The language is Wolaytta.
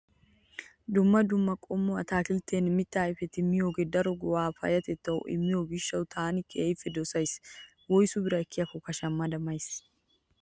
Dumma dumma qommo ataakilttetinne mittaa ayipetaa miyoogee daro ga'aa payyatettawu immiyoo gishshawu taani keehippe dosayis. Woyisu bira ekkikkka shammada mayis.